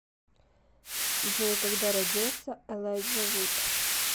джой когда родился элайджа вуд